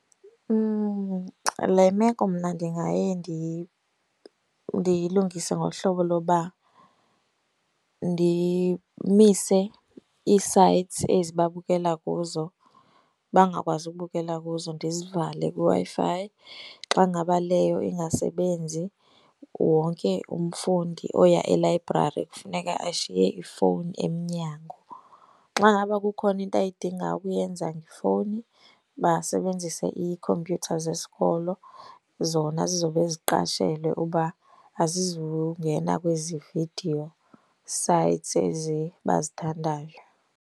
Le meko mna ndingaye ndiyilungise ngohlobo loba ndimise ii-sites ezi babukela kuzo bangakwazi ukubukela kuzo, ndizivale kwiWi-Fi. Xa ngaba leyo ingasebenzi wonke umfundi oya elayibrari kufuneka ashiye ifowuni emnyango. Xa ngaba kukhona into ayidinga ukuyenza ngefowuni, basebenzise iikhompyutha zesikolo, zona zizobe ziqashelwe uba azizungena kwezi video sites ezi bazithandayo.